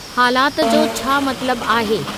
हालात जो छा मतलबु आहे